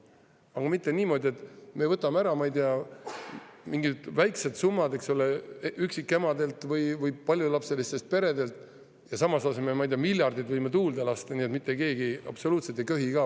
Aga mitte niimoodi, et me võtame ära, ma ei tea, mingid väikesed summad üksikemadelt või paljulapselistelt peredelt ja samas võime miljardid tuulde lasta, nii et mitte keegi absoluutselt ei köhi ka.